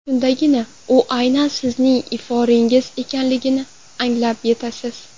Shundagina u aynan sizning iforingiz ekanligini anglab yetasiz!